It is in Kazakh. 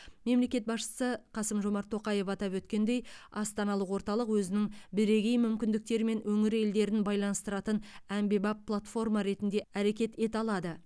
мемлекет басшысы қасым жомарт тоқаев атап өткендей астаналық орталық өзінің бірегей мүмкіндіктерімен өңір елдерін байланыстыратын әмбебап платформа ретінде әрекет ете алады